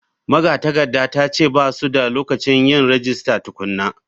Magatakardar ta ce ba su da lokacin yin rajista tukuna.